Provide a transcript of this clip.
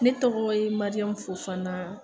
Ne tɔgɔ ye Maiyamu Fofana